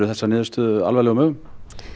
þessa niðurstöðu alvarlegum augum